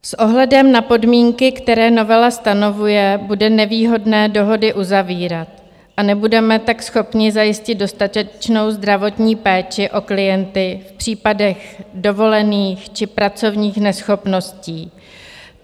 S ohledem na podmínky, které novela stanovuje, bude nevýhodné dohody uzavírat, a nebudeme tak schopni zajistit dostatečnou zdravotní péči o klienty v případech dovolených či pracovních neschopností.